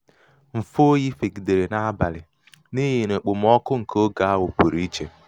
mfe oyi fegidere n'abalị n'ihi n'ihi okpomọkụ nke oge ahụ pụrụ ichè.